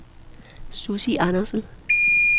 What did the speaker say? Sussi Andersen